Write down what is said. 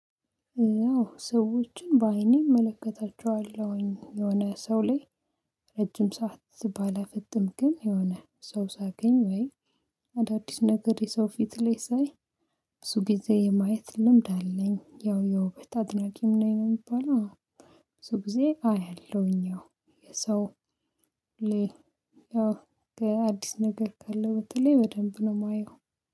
አዎ ሰዎችን በአይኔ እመለከታቸዋለሁኝ የሆነ ሰው ላይ ረጅም ሰዓት ሲባል ፍጹም ግን የሆነ ሰው ሳገኝ ወይ አዳዲስ ነገር የሰው ፊት ላይ ሳይ። ብዙ ጊዜ የማየት ልምድ አለኝ ያው ያው ብር አድናቂም ነኝ የምባለው። ብዙ ጊዜ አየሁኝ። ያው የሰው ላይ ያው ከአዲስ ነገር ካለው በተለይ በደንብ ነው የማየው።